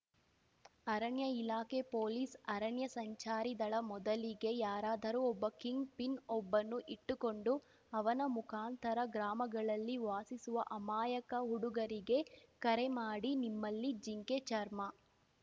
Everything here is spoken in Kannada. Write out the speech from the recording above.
ಅರಣ್ಯ ಇಲಾಖೆ ಪೊಲೀಸ್‌ ಅರಣ್ಯ ಸಂಚಾರಿ ದಳ ಮೊದಲಿಗೆ ಯಾರಾದರೂ ಒಬ್ಬ ಕಿಂಗ್‌ಪಿನ್‌ ಒಬ್ಬನ್ನು ಇಟ್ಟುಕೊಂಡು ಅವನ ಮುಖಾಂತರ ಗ್ರಾಮಗಳಲ್ಲಿ ವಾಸಿಸುವ ಅಮಾಯಕ ಹುಡುಗರಿಗೆ ಕರೆ ಮಾಡಿ ನಿಮ್ಮಲ್ಲಿ ಜಿಂಕೆ ಚರ್ಮ